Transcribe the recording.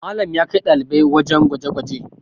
Malam ya kai ɗalibai wajen gwaje gwaje